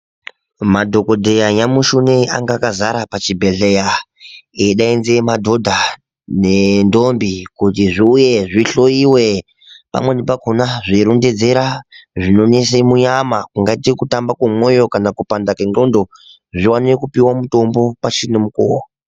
Madhogodheya nyamushi unowu anga akazara pachibhedhleya eidaidze madhodha ngendombi kuti zviuye zvihloyiwe. Pamweni pakona zveirondedzera zvinonese munyama kungaite kutamba kwemwoyo kana kupanda kwe kuti zvione kupuwe mutombo pachine mukuwo.